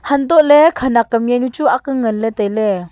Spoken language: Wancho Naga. hantoh ley khanak am jawnu chu ang lan ley ngan ley tai ley.